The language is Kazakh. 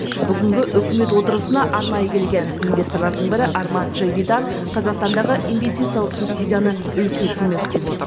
бүгінгі үкімет отырысына арнайы келген инвесторлардың бірі арман джавидан қазақстандағы инвестициялық субсидияны үлкен көмек деп отыр